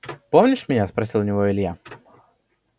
помнишь меня спросил у него илья